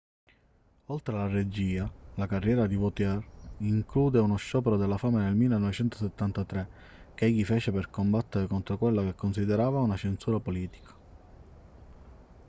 oltre alla regia la carriera di vautier include uno sciopero della fame nel 1973 che egli fece per combattere contro quella che considerava una censura politica